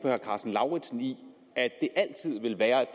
herre karsten lauritzen i at det altid vil være